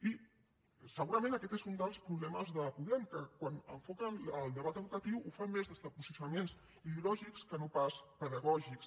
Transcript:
i segurament aquest és un dels problemes de podem que quan enfoquen el debat educatiu ho fan més des de posicionaments ideològics que no pas pedagògics